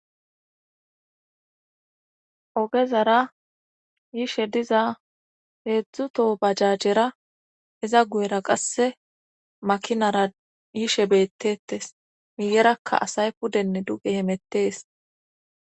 ogezara yishe diza heedzdzu toho bajajjera iza guyera qasse makinara yishe beettettes miyerakka asay pudenne duge hemettees